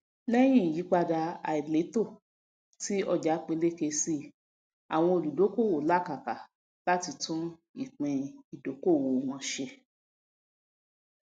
lẹyìn ìyípadà àìlétò ti ọjà peléke síi àwọn olùdókòwò làkàkà láti tún ìpín ìdókolòwò wọn ṣe